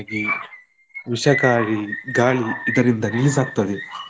ಈ ವಿಷಕಾರಿ ಗಾಳಿ ಇದರಿಂದ release ಆಗ್ತದೆ.